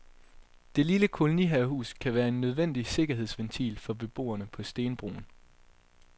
Det lille kolonihavehus kan være en nødvendig sikkerhedsventil for beboerne på stenbroen.